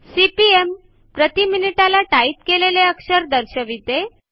CPM प्रती मिनिटाला type केलेले अक्षरे दर्शविते